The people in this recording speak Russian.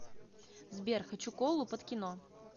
сбер хочу колу под кино